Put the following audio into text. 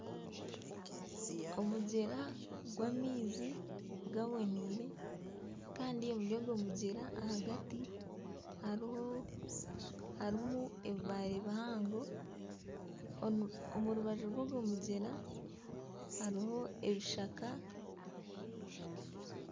Omugyera gw'amaizi gaboneire kandi omuri ogwo mugyera ahagati hariho harimu ebibaare bihango. OMu rubaju rw'ogwo mugyera hariho ebishaka.